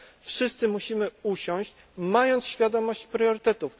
Wszyscy musimy usiąść, mając świadomość priorytetów.